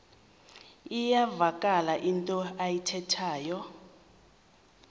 iyavakala into ayithethayo